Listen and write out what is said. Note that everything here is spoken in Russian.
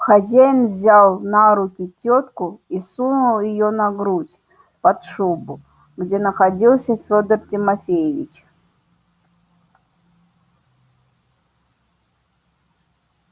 хозяин взял на руки тётку и сунул её на грудь под шубу где находился федор тимофеевич